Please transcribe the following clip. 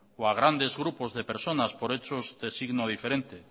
o a grandes grupos de personas por hechos de signo diferente